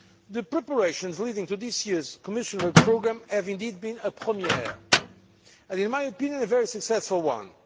The preparations leading to this year's Commission work programme have indeed been a première', and, in my opinion, a very successful one.